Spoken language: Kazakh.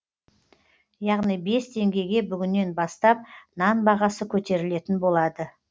яғни бес теңгеге бүгіннен бастап нан бағасы көтерілетін болады